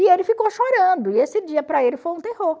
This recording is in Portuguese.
E ele ficou chorando, e esse dia para ele foi um terror.